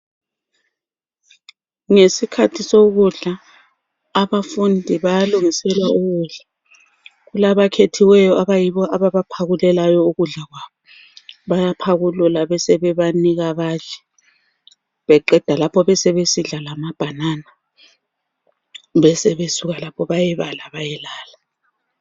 Ngesikhathi sokudla abafundi bayalungiselwa ukudla , kulabakhethiweyo abayibo ababaphakulelayo ukudla kwabo bayaphakulula besebebanika badle beqeda lapho besebesidla lamabhanana besebesuka lapho bayebala bayelala.